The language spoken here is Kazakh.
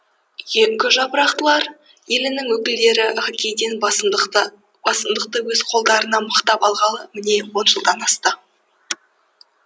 үйеңкі жапырақтылар елінің өкілдері хоккейден басымдықты өз қолдарына мықтап алғалы міне он жылдан асты